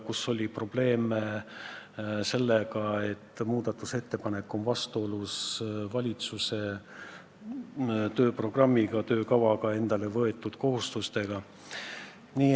Ka oli probleeme sellega, et muudatusettepanek on vastuolus valitsuse tööprogrammiga, endale võetud kohustustega.